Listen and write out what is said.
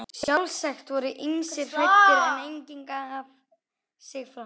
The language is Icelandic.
Sjálfsagt voru ýmsir hræddir, en enginn gaf sig fram.